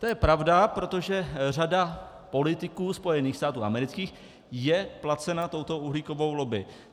To je pravda, protože řada politiků Spojených států amerických je placena touto uhlíkovou lobby.